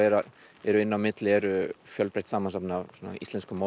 inni á milli er fjölbreytt samansafn af íslenskum